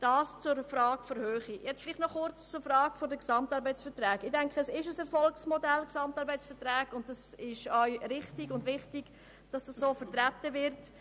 Was die GAV angeht, sind sie ein Erfolgsmodell, welches klar und mit Überzeugung zu vertreten ist.